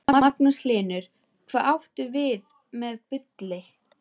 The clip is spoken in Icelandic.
Magnús Hlynur: Hvað áttu við með bulli?